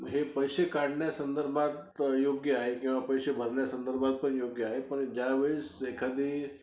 हे पैसे काढण्या संदर्भात योग्य आहे किंवा पैसे भरण्या संदर्भात पण योग्य आहे, पण ज्यावेळेस एखादी